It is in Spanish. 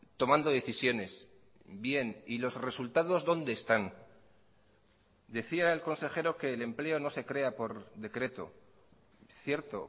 tomando decisiones bien y los resultados dónde están decía el consejero que el empleo no se crea por decreto cierto